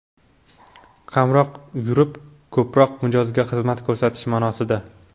Kamroq yurib, ko‘proq mijozga xizmat ko‘rsatish ma’nosida.